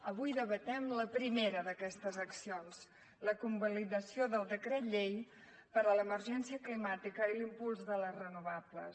avui debatem la primera d’aquestes accions la convalidació del decret llei per a l’emergència climàtica i l’impuls de les renovables